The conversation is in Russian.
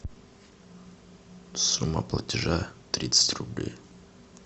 сумма платежа тридцать рублей